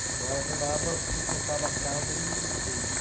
Então ela trabalhava, sustentava a casa em em tudo.